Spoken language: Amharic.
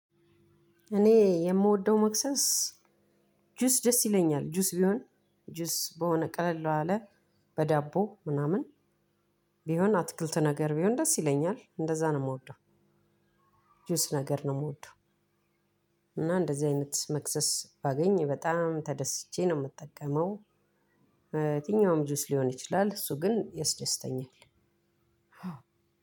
እኔ የምወደው መክሰስ ጁስ ደስ ይለኛል። ጁስ ቢሆን ጁስ በሆነ ቀለል ባለ በዳቦ ምናምን ቢሆን አትክልት ነገር ቢሆን ደስ ይለኛል። እንደዛ ነው የምወደው። ጁስ ነገር ነው የምወደው። እና እንደዚህ አይነት መክሰስ ባገኝ በጣም ተደስቼ ነው የምጠቀመው። በትኛውም ጁስ ሊሆን ይችላል እሱ ግን ያስደስተኛል።